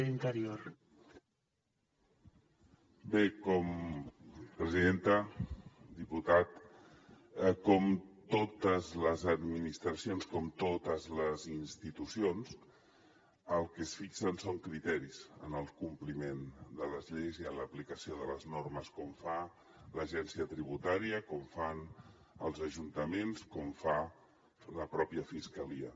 diputat com totes les administracions com totes les institucions el que es fixen són criteris en el compliment de les lleis i en l’aplicació de les normes com fa l’agència tributària com fan els ajuntaments com fa la pròpia fiscalia